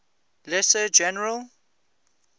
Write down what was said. lesser general